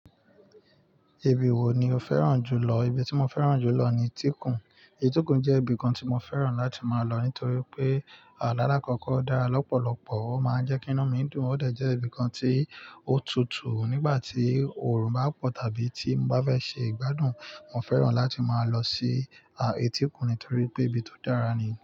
Ẹbí wo ni o fẹ́ràn jù lọ? Ibi tí mo fẹ́ràn jù lọ ni Étíkùn. Étíkùn jẹ́ ibìkan tí mo fẹ́ràn láti máa lọ nítorí pé, lalakooko o dára lọ́pọ̀lọpọ̀, ó máa ń jẹ́ kí iná mi dùn. Ó de jẹ́ ibìkan tí ó tutù nígbà tí òòrùn bá pọ̀ tàbí tí n bá fẹ́ ṣe ìgbádùn. Mo fẹ́ràn láti máa lọ sí Étíkùn nítorí pé ibi tó dára nìyẹn.